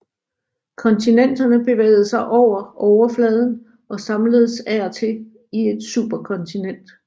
Kontinenterne bevægede sig over overfladen og samledes af og til i et superkontinent